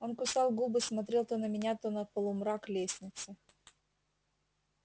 он кусал губы смотрел то на меня то на полумрак лестницы